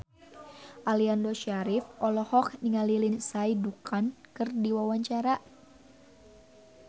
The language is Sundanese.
Aliando Syarif olohok ningali Lindsay Ducan keur diwawancara